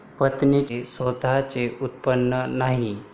पत्नीचे स्वतःचे उत्पन्न नाही.